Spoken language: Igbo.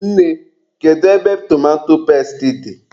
Nne, kedu ebe tomato pesti dị?